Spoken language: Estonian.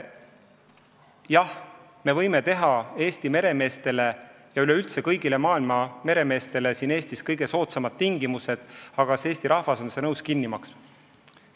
Jah, me võime kehtestada Eesti meremeestele ja üleüldse kõigile maailma meremeestele siin Eestis kõige soodsamad tingimused, aga kas Eesti rahvas on nõus seda kinni maksma?